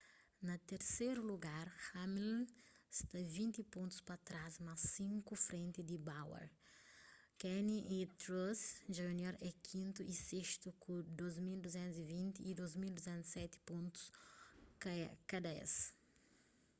na terseru lugar hamlin sta vinti pontus pa trás mas sinku frenti di bowyer kahne y truex jr é kintu y sestu ku 2,220 y 2,207 pontus ka es